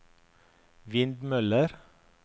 vindmøller